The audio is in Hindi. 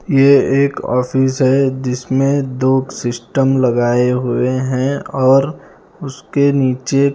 ये एक ऑफिस है जिसमें दो सिस्टम लगायें हुए है और उसके नीचे--